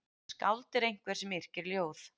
Skáld er einhver sem yrkir ljóð.